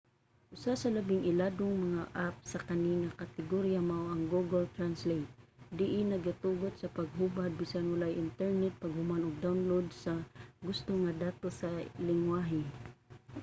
usa sa labing iladong mga app sa kani nga kategorya mao ang google translate diin nagatugot sa paghubad bisan walay internet paghuman og download sa gusto nga datos sa linggwahe